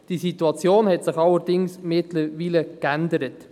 Die Situation hat sich allerdings mittlerweile verändert.